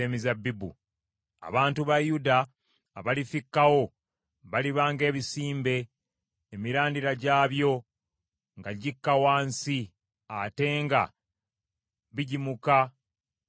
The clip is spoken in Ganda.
Abantu ba Yuda abalifikkawo baliba ng’ebisimbe emirandira gyabyo nga gikka wansi ate nga bigimuka ne bibala.